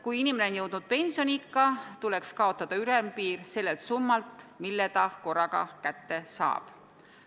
Kui inimene on jõudnud pensioniikka, siis ei tohiks kehtida selle summa ülempiir, mille ta korraga kätte saab.